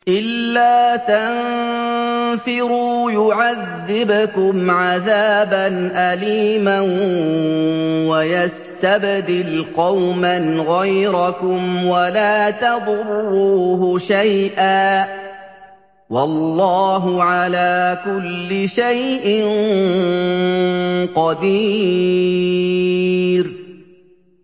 إِلَّا تَنفِرُوا يُعَذِّبْكُمْ عَذَابًا أَلِيمًا وَيَسْتَبْدِلْ قَوْمًا غَيْرَكُمْ وَلَا تَضُرُّوهُ شَيْئًا ۗ وَاللَّهُ عَلَىٰ كُلِّ شَيْءٍ قَدِيرٌ